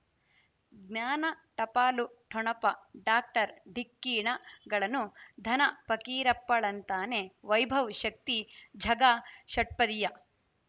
ಜ್ಞಾನ ಟಪಾಲು ಠೊಣಪ ಡಾಕ್ಟರ್ ಢಿಕ್ಕಿ ಣಗಳನು ಧನ ಫಕೀರಪ್ಪ ಳಂತಾನೆ ವೈಭವ್ ಶಕ್ತಿ ಝಗಾ ಷಟ್ಪದಿಯ